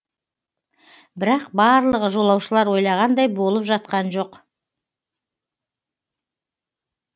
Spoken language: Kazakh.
бірақ барлығы жолаушылар ойлағандай болып жатқан жоқ